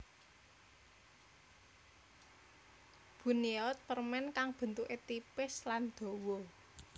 Buinnyeot permen kang bentuke tipis lan dawa